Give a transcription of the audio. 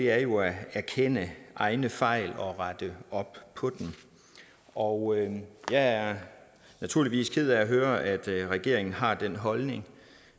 er jo at erkende egne fejl og rette op på dem og jeg er naturligvis ked af at høre at regeringen har den holdning